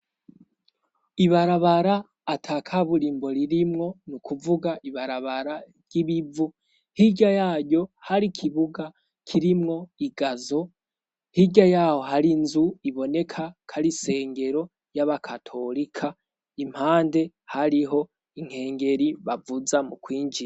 Ibarabara ata kaburaimbo ririmwo ni ukuvuga ibarabara ry'ibivu hirya yaryo hari ikibuga kirimwo igazo hirya yaho hari inzu iboneka kari isengero y'abakatolika impande hariho inkengeri bavuzamwo.